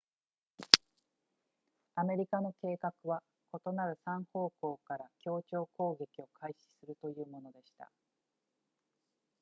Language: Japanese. アメリカの計画は異なる3方向から協調攻撃を開始するというものでした